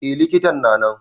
Eh likitan na nan.